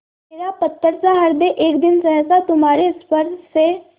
मेरा पत्थरसा हृदय एक दिन सहसा तुम्हारे स्पर्श से